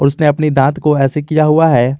उसने अपनी दांत को ऐसे किया हुआ है।